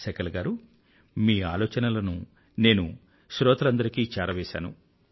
శకల్ గారూ మీ ఆలోచనలను నేను శ్రోతలందరికీ చేరవేసాను